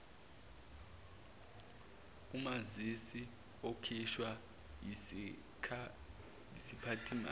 umazisi okhishwa yisiphathimandla